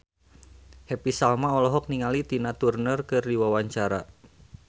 Happy Salma olohok ningali Tina Turner keur diwawancara